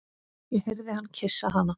Ég heyrði hann kyssa hana.